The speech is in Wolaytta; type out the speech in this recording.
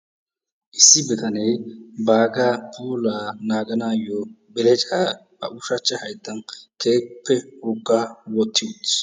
issi bitanee baaga puulaa naaganayyo belecca ba ushsachcha hayttan keehippe wogga wottoi uttis.